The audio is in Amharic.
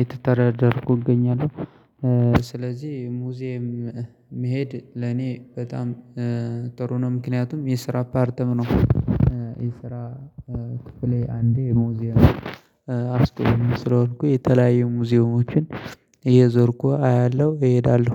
የተተረዳርኩ እገኛለሁ። ስለዚህ ሙዚየም መሄድ ለኔ በጣም ጥሩ ነው። ምክንያቱም የስራ ፓርትም ነው። የስራ ክፍሌ አንዴ ሙዚየም አስጎብኝም ስለሆንሁኝ የተለያዩ ሙዚየሞችን እየዞርኩ አያለሁ እሄዳለሁ።